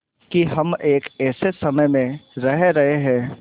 कि हम एक ऐसे समय में रह रहे हैं